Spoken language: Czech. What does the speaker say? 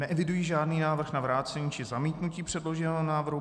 Neeviduji žádný návrh na vrácení či zamítnutí předloženého návrhu.